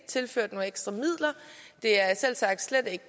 tilført nogle ekstra midler og det er selvsagt slet ikke